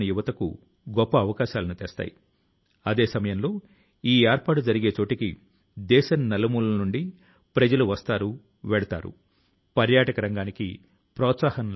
మనం డబ్బు ను సంపాదించవలసి వచ్చినప్పుడు అంటే పురోగతి చెందవలసివచ్చినప్పుడు ప్రతి కణాన్ని అంటే ప్రతి వనరు ను సముచితం గా ఉపయోగించాలి